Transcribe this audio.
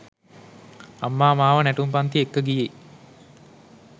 අම්මා මාව නැටුම් පන්ති එක්ක ගියේ